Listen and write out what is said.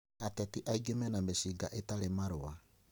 Ateti aingĩ mena mĩcinga ĩtarĩ na marũa